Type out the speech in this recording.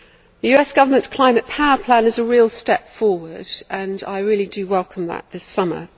The US Government's climate power plan is a real step forward, and I really do welcome that this summer.